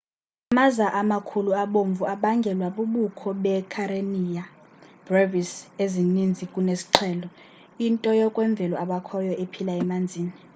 amaza amakhulu abomvu abangelwa bubukho beekarenia brevis ezininzi kunesiqhelo into yokwemvelo ebakhoyo ephila emanzini